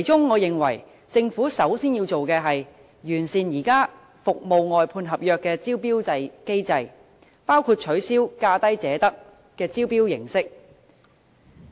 我認為政府首先要做的，是完善現有服務外判合約的招標機制，包括取消"價低者得"的招標形式。